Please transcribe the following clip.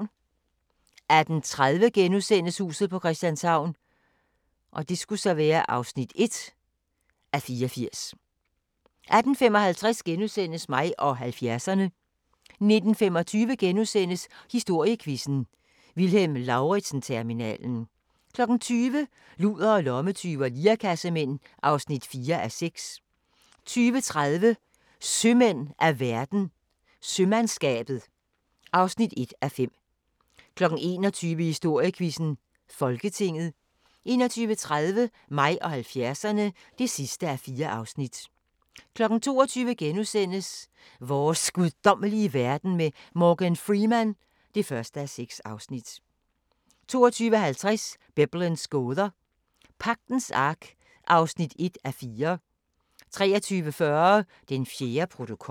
18:30: Huset på Christianshavn (1:84)* 18:55: Mig og 70'erne * 19:25: Historiequizzen: Vilhelm Lauritzen-terminalen * 20:00: Ludere, lommetyve og lirekassemænd (4:6) 20:30: Sømand af verden – Sømandskabet (1:5) 21:00: Historiequizzen: Folketinget 21:30: Mig og 70'erne (4:4) 22:00: Vores guddommelige verden med Morgan Freeman (1:6)* 22:50: Biblens gåder – Pagtens Ark (1:4) 23:40: Den fjerde protokol